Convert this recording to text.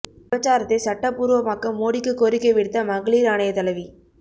விபச்சாரத்தை சட்டப் பூர்வமாக்க மோடிக்கு கோரிக்கை விடுத்த மகளீர் ஆணைய தலைவி